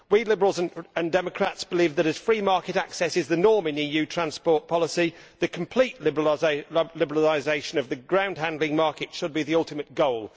We Liberals and Democrats believe that, as free market access is the norm in EU transport policy, the complete liberalisation of the groundhandling market should be the ultimate goal.